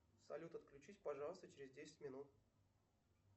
салют отключись пожалуйста через десять минут